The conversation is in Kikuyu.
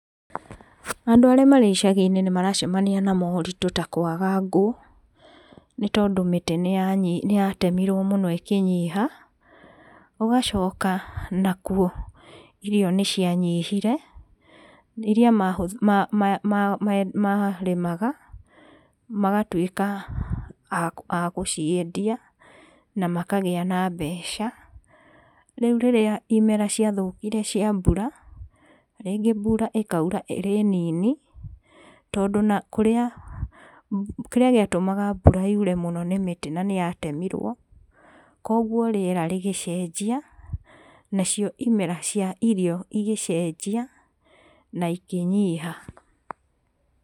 Andũ arĩa marĩ icaginĩ nĩmaracemania na moritũ ta kwaga ngũ, nĩtondũ mĩtĩ nĩyanyi, nĩyatemirwo mũno ĩkĩnyiha, gũgacoka nakwo irio nĩcianyihire, iria ma, ma, ma, marĩmaga, magatwĩka a gũciendia, na makagĩa na mbeca, rĩu rĩrĩa imera ciathũkire cia mbura, rĩngĩ mbura ĩkaura ĩrĩ nini, tondũ nakũrĩa, kĩrĩa gĩatũmaga mbura yure mũno nĩ mĩtĩ na nĩyatemirwo, kwogwo rĩera rĩgĩcenjia, nacio imera cia irio igĩcenjia, na ikĩnyiha.